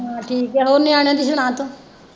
ਹਾਂ ਠੀਕ ਹੈ ਹੋਰ ਨਿਆਣਿਆਂ ਦੀ ਸੁਣਾ ਤੂੰ।